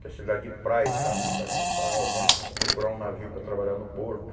que é cidade de praia e tal, a gente pega uma praia, vamos procurar um navio para trabalhar no porto.